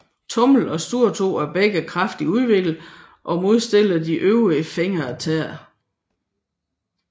Tommel og storetå er begge kraftigt udviklet og modstillet de øvrige fingre og tæer